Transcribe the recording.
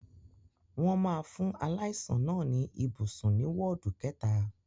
Wọ́n máa fún aláìsàn náà ní ibùsùn ní wọ́ọ̀dù kẹta.